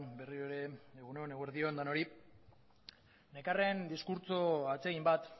berriro ere egun on eguerdi on denoi nekarren diskurtso atsegin bat